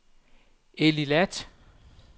Eilat